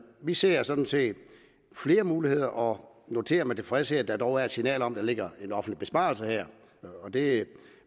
vi ser sådan set flere muligheder og noterer med tilfredshed at der dog er et signal om at der ligger en offentlig besparelse her det er